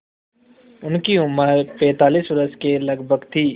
उनकी उम्र पैंतालीस वर्ष के लगभग थी